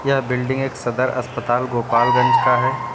यह बिल्डिंग एक सदर अस्पताल गोपालगंज का है।